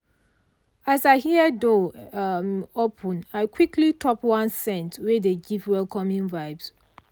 as i hear door um open i quickly top one scent wey dey give welcoming vibes.